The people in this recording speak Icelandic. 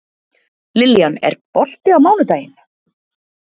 Lillian, er bolti á mánudaginn?